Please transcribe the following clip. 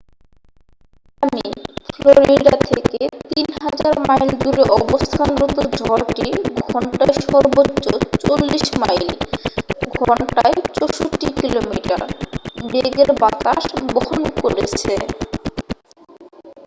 Miami Florida থেকে ৩০০০ mile দূরে অবস্থানরত ঝড়টি ঘন্টায় সর্বোচ্চ ৪০ মাইল ঘণ্টায় ৬৪ কিলোমিটার বেগের বাতাস বহন করেছে।